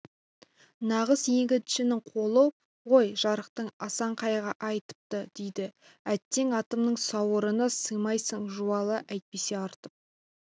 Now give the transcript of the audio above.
нағыз егіншінің қолы ғой жарықтық асан қайғы айтыпты дейді әттең атымның сауырына сыймайсың жуалы әйтпесе артып